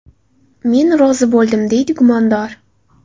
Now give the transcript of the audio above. Men rozi bo‘ldim”, deydi gumondor.